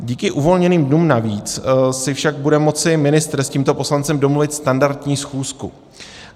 Díky uvolněným dnům navíc si však bude moci ministr s tímto poslancem domluvit standardní schůzku.